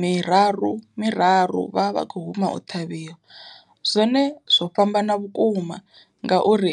miraru miraru vha vha kho huma u ṱhavhiwa. Zwone zwo fhambana vhukuma ngauri